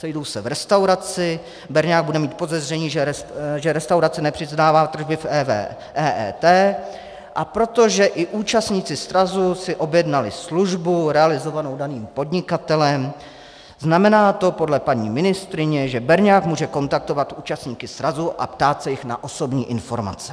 Sejdou se v restauraci, berňák bude mít podezření, že restauraci nepřiznává tržby v EET, a protože i účastníci srazu si objednali službu realizovanou daným podnikatelem, znamená to podle paní ministryně, že berňák může kontaktovat účastníky srazu a ptát se jich na osobní informace.